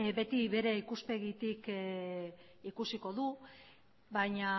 beti bere ikuspegitik ikusiko du baina